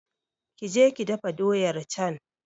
Ki je ki dafa doyar can!